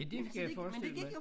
Ja det kan jeg forestille mig